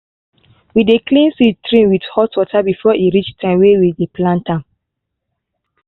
we dey clean seed tray with hot water before e reach time way we dey plant am.